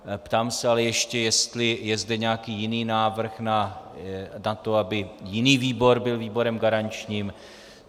Ptám se ale ještě, jestli je zde nějaký jiný návrh na to, aby jiný výbor byl výborem garančním.